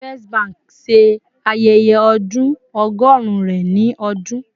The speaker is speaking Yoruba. First Bank ṣe ayẹyẹ ọdun ọgọrun rẹ ni ọdun